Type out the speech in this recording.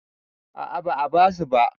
A'a ba a busa ba